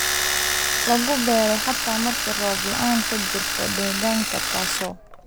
lagu beeray xataa marka roob la'aani ka jirto deegaanka taasoo